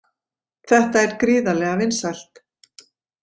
Þetta er gríðarlega vinsælt